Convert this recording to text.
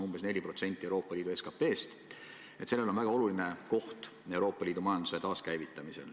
Ütlen lihtsalt selleks, et need miljardi nullid kõiki ei eksitaks, et see summa moodustab umbes 4% Euroopa Liidu SKT-st.